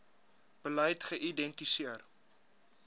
beleid geïdenti seer